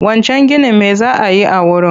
Wancan ginin me za a yi a wurin?